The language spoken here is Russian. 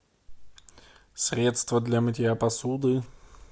средство для мытья посуды